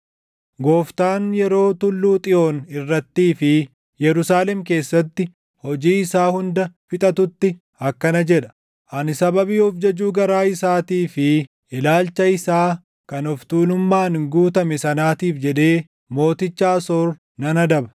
Gooftaan yeroo Tulluu Xiyoon irrattii fi Yerusaalem keessatti hojii isaa hunda fixatutti akkana jedha; “Ani sababii of jajuu garaa isaatii fi ilaalcha isaa kan of tuulummaan guutame sanaatiif jedhee mooticha Asoor nan adaba.